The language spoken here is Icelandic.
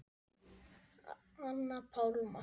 Anna Pálma.